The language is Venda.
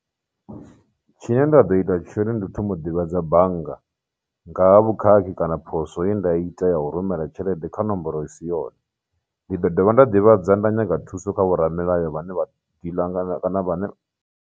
Tshine nda ḓo ita tshone ndi u thoma u ḓivhadza bannga ngaha vhukhakhi kana poswo ye nda ita ya u rumela tshelede kha nomboro i si yone, ndi ḓo dovha nda ḓivhadza nda nyaga thuso kha vhoramilayo vhane vha dealer .